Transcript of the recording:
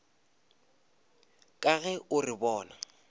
ka ge o re bona